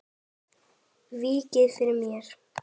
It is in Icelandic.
Víkið fyrir mér.